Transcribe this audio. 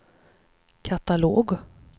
katalog